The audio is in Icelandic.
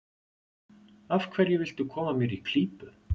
Af hverju viltu koma mér í klípu?